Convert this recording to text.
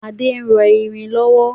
Ade ń rọ irin lọ́wọ́